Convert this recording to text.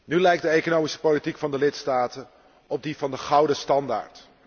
Nu lijkt de economische politiek van de lidstaten op die van de gouden standaard.